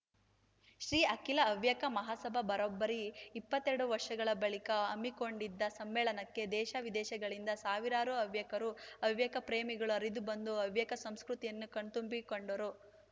ಶ್ರೀ ಅಖಿಲ ಹವ್ಯಕ ಮಹಾಸಭಾ ಬರೋಬ್ಬರಿ ಇಪ್ಪತ್ತೆರಡು ವರ್ಷಗಳ ಬಳಿಕ ಹಮ್ಮಿಕೊಂಡಿದ್ದ ಸಮ್ಮೇಳನಕ್ಕೆ ದೇಶವಿದೇಶದಿಂದ ಸಾವಿರಾರು ಹವ್ಯಕರು ಹವ್ಯಕ ಪ್ರೇಮಿಗಳು ಹರಿದು ಬಂದು ಹವ್ಯಕ ಸಂಸ್ಕೃತಿಯನ್ನು ಕಣ್ತುಂಬಿಕೊಂಡರು